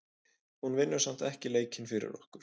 Hún vinnur samt ekki leikinn fyrir okkur.